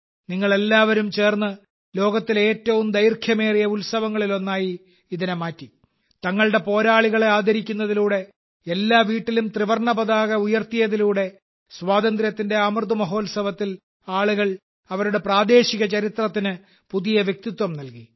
നിങ്ങളെല്ലാവരും ചേർന്ന് ലോകത്തിലെ ഏറ്റവും ദൈർഘ്യമേറിയ ഉത്സവങ്ങളിലൊന്നായി ഇതിനെ മാറ്റി തങ്ങളുടെ പോരാളികളെ ആദരിക്കുന്നതിലൂടെ എല്ലാ വീട്ടിലും ത്രിവർണ്ണ പതാക ഉയർത്തിയതിലൂടെ സ്വാതന്ത്ര്യത്തിന്റെ അമൃത് മഹോത്സവത്തിൽ ആളുകൾ അവരുടെ പ്രാദേശിക ചരിത്രത്തിന് ഒരു പുതിയ വ്യക്തിത്വം നൽകി